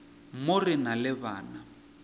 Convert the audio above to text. mo re na le bana